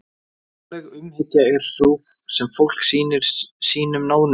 Náttúruleg umhyggja er sú sem fólk sýnir sínum nánustu.